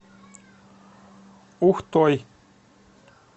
ухтой